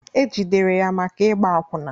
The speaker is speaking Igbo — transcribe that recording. E jidere ya maka ịgba akwụna